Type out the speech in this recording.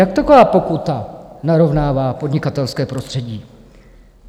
Jak taková pokuta narovnává podnikatelské prostředí?